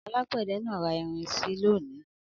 Alágbẹ̀dẹ náà ra irin si lónìí.